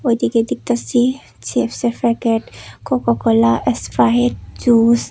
এদিকে দেখতাসি চিপসের packet Coca Cola Sprite juice.